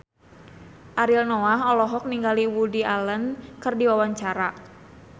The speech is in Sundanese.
Ariel Noah olohok ningali Woody Allen keur diwawancara